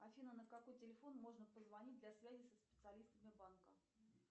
афина на какой телефон можно позвонить для связи со специалистами банка